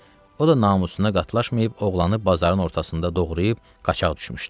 O da namusuna qatlaşmayıb, oğlanı bazarın ortasında doğrayıb qaçaq düşmüşdü.